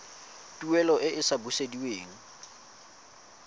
tuelo e e sa busediweng